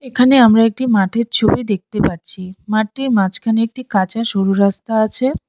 এখানে আমরা একটি মাঠের ছবি দেখতে পাচ্ছি। মাঠটির মাঝখানে একটি কাঁচা সরু রাস্তা আছে।